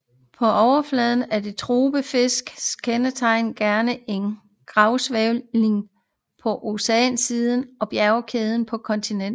På overfladen er det topografiske kendetegn gerne en gravsænkning på oceansiden og en bjergkæde på kontinentsiden